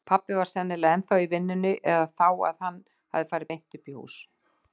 Pabbi var sennilega ennþá í vinnunni eða þá að hann hafði farið beint uppí hús.